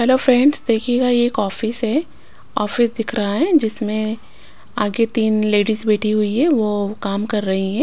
Hello friends देखिएगा ये एक ऑफिस है ऑफिस दिख रहा है जिसमें आगे तीन लेडीज बैठी हुई है वो काम कर रही है।